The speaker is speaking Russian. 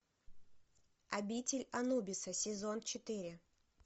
обитель анубиса сезон четыре